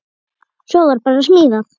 Svo var bara smíðað.